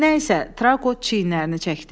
Nəysə, Trauqot çiynlərini çəkdi.